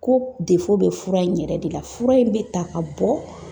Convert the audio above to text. Ko bɛ fura in yɛrɛ de la, fura in bɛ ta ka bɔ